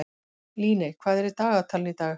Líney, hvað er í dagatalinu í dag?